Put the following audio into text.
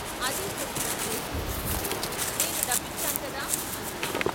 అదే ప్రశ్న శేషయ్యని వేస్తే "నేను డబ్బిచ్చాను గదా " అన్నాడు.